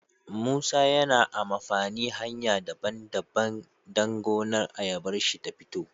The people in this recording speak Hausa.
musa yana amafani hanya daban daban dan gonar ayabarshi ta fito